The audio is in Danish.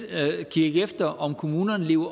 at kigge efter om kommunerne lever